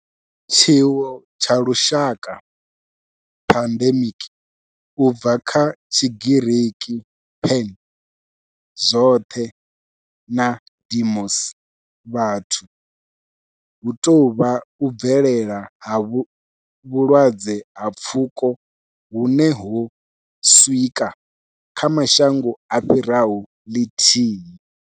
Tshiwo tsha lushaka pandemic, u bva kha Tshigiriki pan, zwothe na demos, vhathu, hu tou vha u bvelela ha vhulwadze ha pfuko hune ho swika kha mashango a fhiraho lithihi.